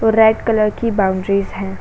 और red colour की boundaries हैं।